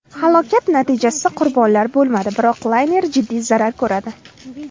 Halokat natijasida qurbonlar bo‘lmadi, biroq layner jiddiy zarar ko‘radi.